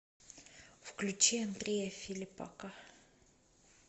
включи андрея филиппака